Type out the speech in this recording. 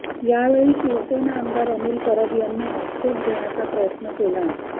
यावेळी शिवसेना आमदार अनिल परब यांनी आक्षेप घेण्याचा प्रयत्न केला